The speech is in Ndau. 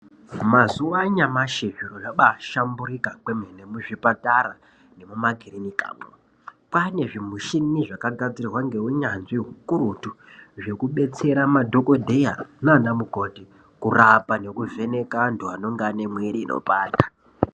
Mazuva anyamashi zviro zvabashamburika kwemene muzvipatara nemuma kirinikamwo. Kwane zvimichini zvakagadzirwa ngeunyanzvi hukurutu zvekubetsera madhokodheya nana mukoti kurapa nekuvheneka antu anenge ane mwiri inopanda.